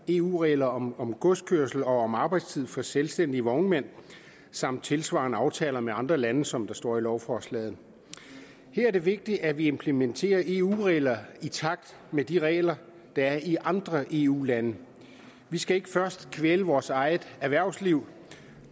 eu regler om om godskørsel og om arbejdstid for selvstændige vognmænd samt tilsvarende aftaler med andre lande som der står i lovforslaget her er det vigtigt at vi implementerer eu regler i takt med de regler der er i andre eu lande vi skal ikke først kvæle vores eget erhvervsliv